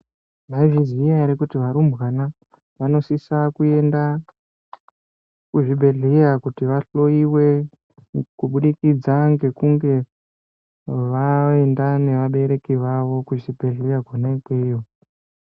Maizviziya here kuti varumbwana vanosisa kuenda kuzvibhedhleya kuti vahloyiwe kubudikidza ngekunge vaenda nevabereki vavo kuzvibhedhleya kona ikweyo.